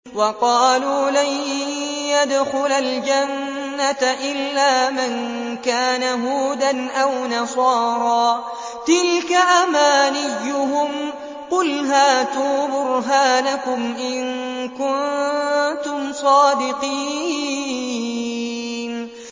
وَقَالُوا لَن يَدْخُلَ الْجَنَّةَ إِلَّا مَن كَانَ هُودًا أَوْ نَصَارَىٰ ۗ تِلْكَ أَمَانِيُّهُمْ ۗ قُلْ هَاتُوا بُرْهَانَكُمْ إِن كُنتُمْ صَادِقِينَ